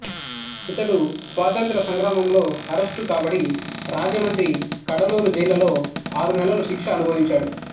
ఇతడు స్వాతంత్ర్య సంగ్రామంలో అరెస్టు కాబడి రాజమండ్రి కడలూరు జైళ్లలో ఆరునెలలు శిక్ష అనుభవించాడు